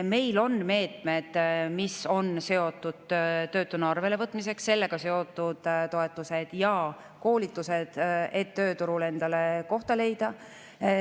Meil on meetmed, mis on seotud töötuna arvele võtmisega, sellega on seotud toetused ja koolitused, et tööturul endale kohta leida.